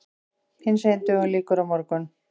Hinsegin dögum lýkur á morgun.